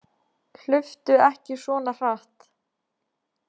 Hlauptu ekki svona hratt.